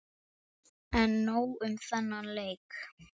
En nóg um þennan leik.